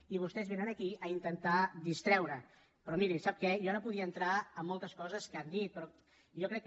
i vostès vénen aquí a intentar distreure però miri sap què jo ara podria entrar a moltes coses que han dit però jo crec que